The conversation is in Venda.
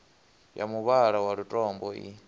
ya muvhala wa lutombo i